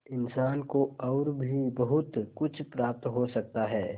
इंसान को और भी बहुत कुछ प्राप्त हो सकता है